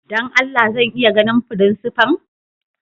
Dan Allah zan iya ganin frincipa'n?